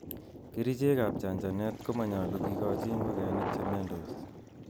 Kerichek ab chanchanet komonyolu kikochi ingokenik chemiondos.